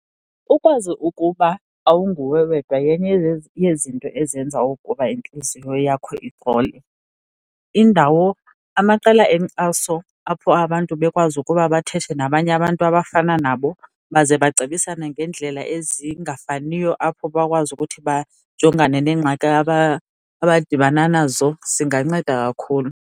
Ukwazi ukuba awunguwe wedwa yenye yezinto ezenza ukuba intliziyo yakho ixole. Indawo, amaqela enkxaso apho abantu bekwazi ukuba bathethe nabanye abantu abafana nabo, baze bacebisane ngeendlela ezingafaniyo apho bakwazi ukuthi bajongane neengxaki abadibana nazo zinganceda kakhulu.